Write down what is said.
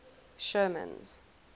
sherman's